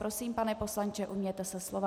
Prosím, pane poslanče, ujměte se slova.